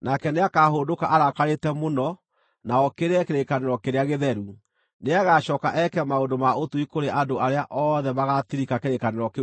Nake nĩakahũndũka arakarĩte mũno na okĩrĩre kĩrĩkanĩro kĩrĩa gĩtheru. Nĩagacooka eke maũndũ ma ũtugi kũrĩ andũ arĩa othe magaatirika kĩrĩkanĩro kĩu gĩtheru.